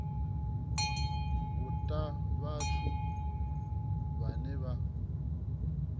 u ta vhathu vhane vha